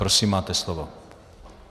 Prosím, máte slovo.